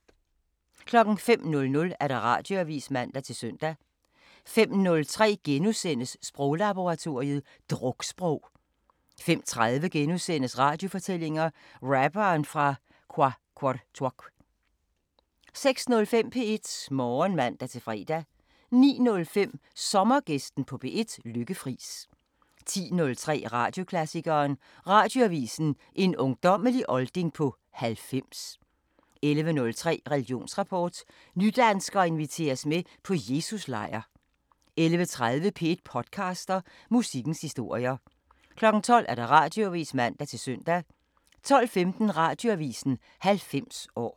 05:00: Radioavisen (man-søn) 05:03: Sproglaboratoriet: Druksprog * 05:30: Radiofortællinger: Rapperen fra Qaqortoq * 06:05: P1 Morgen (man-fre) 09:05: Sommergæsten på P1: Lykke Friis 10:03: Radioklassikeren: Radioavisen – en ungdommelig olding på 90 11:03: Religionsrapport: Nydanskere inviteres med på Jesus-lejr 11:30: P1 podcaster – Musikkens historier 12:00: Radioavisen (man-søn) 12:15: Radioavisen 90 år